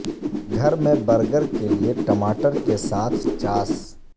گھر میں برگر کے لئے ٹماٹر کے ساتھ چاس